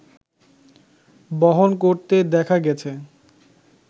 বহন করতে দেখা গেছে